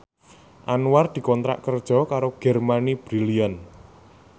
Anwar dikontrak kerja karo Germany Brilliant